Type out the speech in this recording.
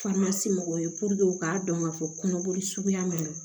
mɔgɔw ye u k'a dɔn k'a fɔ kɔnɔboli suguya min don